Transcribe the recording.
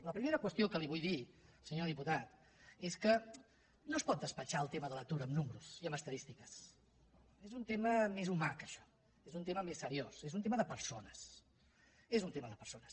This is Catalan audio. la primera qüestió que li vull dir senyor diputat és que no es pot despatxar el tema de l’atur amb números i amb estadístiques és un tema més humà que això és un tema més seriós és un tema de persones és un tema de persones